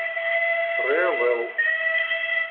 тревел